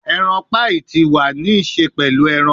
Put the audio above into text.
Eran paii ti wa ni ṣe pẹlu eran